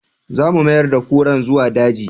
Za mu mayar da kuran zuwa daji